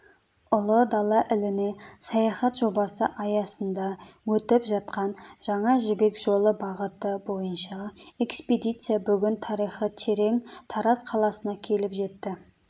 ұлы дала іліне саяхат жобасы аясында өтіп жатқан жаңа жібек жолы бағыты бойынша экспедиция бүгін тарихы терең тараз қаласына келіп жетті